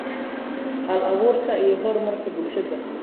hal-abuurka, iyo horumarka bulshada.